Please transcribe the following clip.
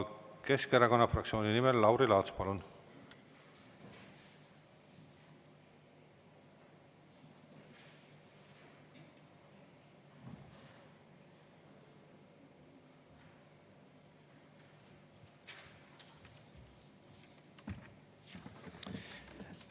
Keskerakonna fraktsiooni nimel Lauri Laats, palun!